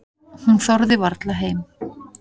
Hún þorði varla heim.